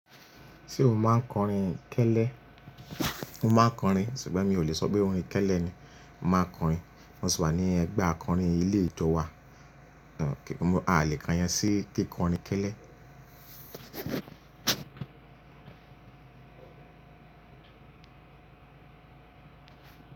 Ṣé o máa ń kọrin kẹ́lẹ́? Mo máa ń kọrin ṣùgbọ́n mi ò lè sọ pé orin kẹ́lẹ́ ni. Mo máa ń kọrin, mo sì wà ní ẹgbẹ́ akọrin ilé ìjọ wa. A lè káyen sí kí kọrin kẹ́lẹ́.